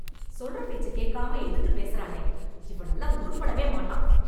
சொல்ற பேச்சை கேக்காம எதுத்து பேசறானே... இவனெல்லாம் உருப்படவே மாட்டான்...